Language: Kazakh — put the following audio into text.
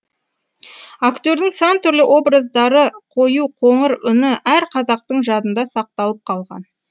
актердің сан түрлі образдары қою қоңыр үні әр қазақтың жадында сақталып қалған